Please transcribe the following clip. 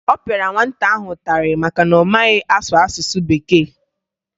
Ọ pịara nwata ahụ ụtarị maka na ọ maghị asụ asụsụ Bekee